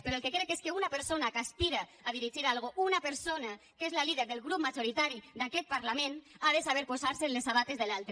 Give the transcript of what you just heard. però el que crec és que una persona que aspira a dirigir alguna cosa una persona que és la líder del grup majoritari d’aquest parlament ha de saber posar se en les sabates de l’altre